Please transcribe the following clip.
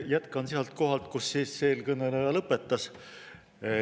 Jätkan sealt kohalt, kus eelkõneleja lõpetas.